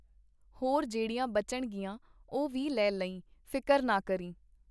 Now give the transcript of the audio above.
ਹੋਰ ਜਿਹੜੀਆਂ ਬਚਣਗੀਆਂ ਉਹ ਵੀ ਲੈ ਲਈਂ ਫ਼ਿਕਰ ਨਾ ਕਰੀਂ.